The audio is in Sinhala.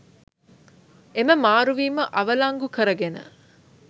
එම මාරුවීම අවලංගු කරගෙන